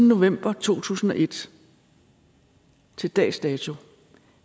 november to tusind og et og til dags dato